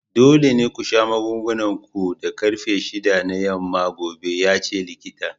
Dole ne ku sha magungunan ku da karfe shida na yamma gobe! yace likitan.